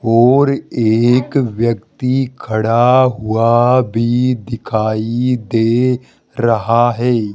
और एक व्यक्ति खड़ा हुआ भी दिखाई दे रहा है।